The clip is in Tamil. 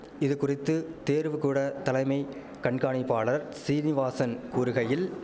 இதுகுறித்து தேர்வுகூட தலைமை கண்காணிப்பாளர் சீனிவாசன் கூறுகையில்